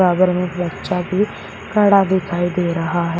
सागर में एक बच्चा भी खड़ा दिखाई दे रहा है।